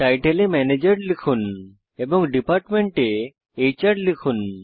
title এ manager লিখুন এবং ডিপার্টমেন্ট এ এচআর লিখুন